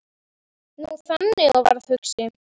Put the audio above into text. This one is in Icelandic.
Hún þagði og var hugsi.